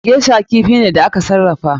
Geisher kifi ne da aka sarrafa.